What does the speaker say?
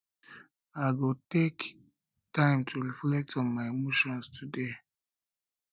i go take time to reflect on my emotions today